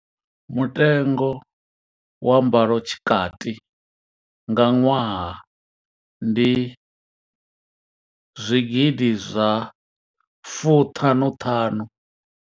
Mutengo wa mbalotshikati nga ṅwaha ndi zwigidi zwa fuṱhanu ṱhanu.